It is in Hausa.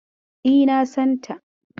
Yes I know her.